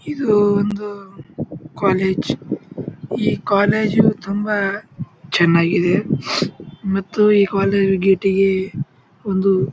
ಇದು ಒಂದು ಕಾಲೇಜ್ . ಈ ಕಾಲೇಜು ತುಂಬಾ ಚನ್ನಾಗಿದೆ ಮತ್ತು ಈ ಕಾಲೇಜ್ ಗೇಟಿಗೆ ಒಂದು--